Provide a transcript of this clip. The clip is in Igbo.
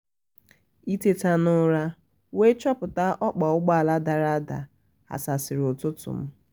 iteta n'ụra we chọpụta okpa ụgbọala dara ada ghasasiri ụtụtụ m